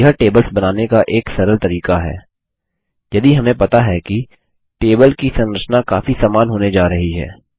यह टेबल्स बनाने का एक सरल तरीका है यदि हमें पता है कि टेबल की संरचना काफी समान होने जा रही है